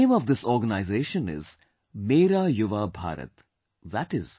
The name of this organization is Mera Yuva Bharat, i